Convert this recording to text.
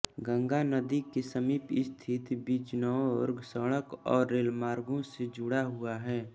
गंगा नदी के समीप स्थित बिजनौर सड़क और रेलमार्गों से जुड़ा हुआ है